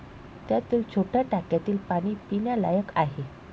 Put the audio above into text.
त्यातील छोट्या टाक्यातील पाणी पिण्यालायक आहे